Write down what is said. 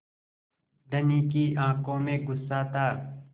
धनी की आँखों में गुस्सा था